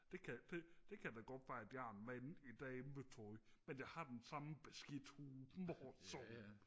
det kan det kan da godt være at jeg er en mand i dametøj men jeg har den samme beskidte humor som